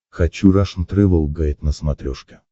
хочу рашн тревел гайд на смотрешке